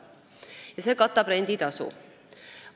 See summa katab renditasu.